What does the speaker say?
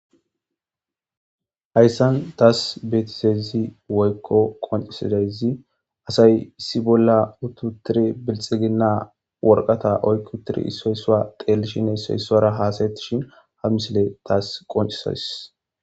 hayssan taas betisezi woykko qoncisidayzi asay issi bolla ututiri bilxiginna worqata oykkutiri issoy isua dhelshine isoy isara haasayettishin ha misile taas qoncisadis